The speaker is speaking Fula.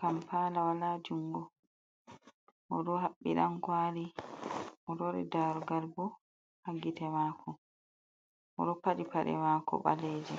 kampala wala jungo, o ɗo haɓɓi Dan kwali, o lowi darugal bo ha gite mako, oɗo paɗi paɗe mako balejom.